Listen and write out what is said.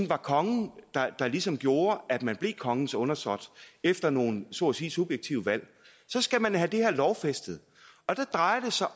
var kongen der ligesom gjorde at man blev kongens undersåt efter nogle så at sige subjektive valg så skal man have det her lovfæstet og der drejer det sig